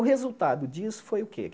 O resultado disso foi o quê?